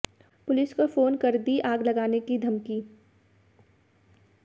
police को phone कर दी आग लगाने की धमकी